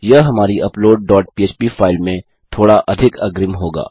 यह हमारी upload dot पह्प फाइल में थोड़ा अधिक अग्रिम होगा